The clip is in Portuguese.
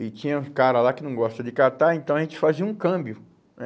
E tinha cara lá que não gosta de catar, então a gente fazia um câmbio, né?